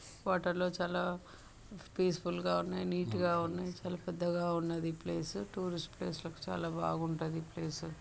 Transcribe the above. water లో చాలా peaceful గా ఉన్నాయి నీట్ గా ఉన్నాయి అసలు పెద్దగా ఉన్నది ఈ ప్లేస్ టూరిస్ట్ ప్లేస్ చాలా బాగుంటది ఈ ప్లేస్